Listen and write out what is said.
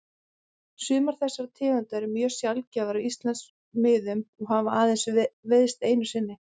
Sumar þessara tegunda eru mjög sjaldgæfar á Íslandsmiðum og hafa aðeins veiðst einu sinni.